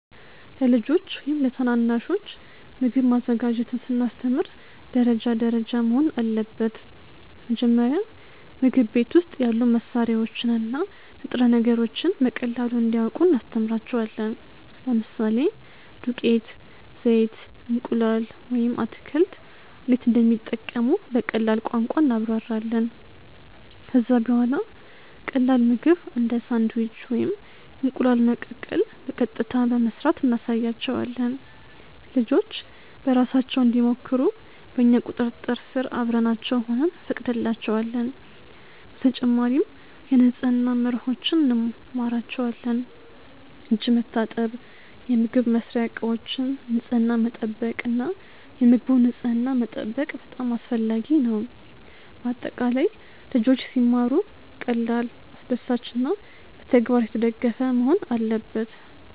ለልጆች ወይም ለታናናሾች ምግብ ማዘጋጀትን ስናስተምር ደረጃ ደረጃ መሆን አለበት። መጀመሪያ ምግብ ቤት ውስጥ ያሉ መሳሪያዎችን እና ንጥረ ነገሮችን በቀላሉ እንዲያውቁ እናስተምራቸዋለን። ለምሳሌ ዱቄት፣ ዘይት፣ እንቁላል ወይም አትክልት እንዴት እንደሚጠቀሙ በቀላል ቋንቋ እናብራራለን። ከዚያ በኋላ ቀላል ምግብ እንደ ሳንድዊች ወይም እንቁላል መቀቀል በቀጥታ በመስራት እናሳያቸዋለን። ልጆች በራሳቸው እንዲሞክሩ በእኛ ቁጥጥር ስር አብረናቸው ሆነን እንፈቅድላቸዋለን። በተጨማሪም የንጽህና መርሆዎችን እንማራቸዋለን፤ እጅ መታጠብ፣ የምግብ መስሪያ እቃዎችን ንጽሕና መጠበቅ እና የምግቡን ንጽሕና መጠበቅ በጣም አስፈላጊ ነው። በአጠቃላይ ልጆች ሲማሩ ቀላል፣ አስደሳች እና በተግባር የተደገፈ መሆን አለበት።